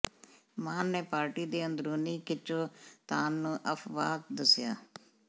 ਮਾਨ ਨੇ ਪਾਰਟੀ ਦੀ ਅੰਦਰੂਨੀ ਖਿੱਚੋਤਾਣ ਨੂੰ ਅਫਵਾਹ ਦੱਸਿਆ